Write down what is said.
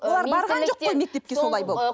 ы олар барған жоқ қой мектепке солай болып